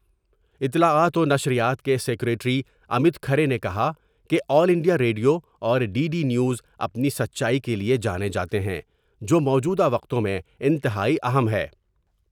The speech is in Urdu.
اطلاعات ونشریات کے سکریٹری امت کھارے نے کہا کہ آل انڈیا ریڈیو اور ڈی ڈی نیوز ا پنی سچائی کے لیے جانے جاتے ہیں جوموجودہ وقتوں میں انتہائی اہم ہے ۔